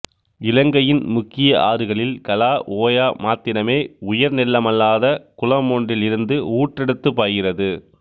இலங்கையின் முக்கிய ஆறுகளில் கலா ஓயா மாத்திரமே உயர்நிலமல்லாத குளம் ஒன்றில் இருந்து ஊற்றெடுத்துப் பாய்கிறது